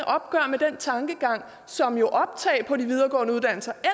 opgør med den tankegang som jo optag på de videregående uddannelser